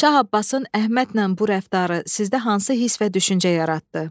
Şah Abbasın Əhmədlə bu rəftarı sizdə hansı hiss və düşüncə yaratdı?